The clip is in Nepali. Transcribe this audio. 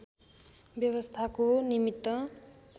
व्यवस्थाको निमित्त